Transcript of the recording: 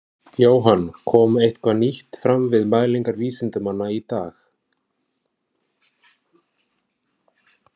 Jóhann, kom eitthvað nýtt fram við mælingar vísindamanna í dag?